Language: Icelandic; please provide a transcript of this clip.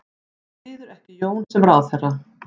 Styður ekki Jón sem ráðherra